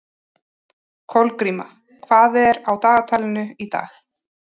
Kolgríma, hvað er á dagatalinu í dag?